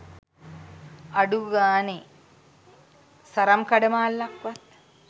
අඩුගානෙ සරම් කඩමාල්ලක් වත්